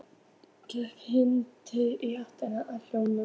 Gekk hikandi í áttina að hópnum.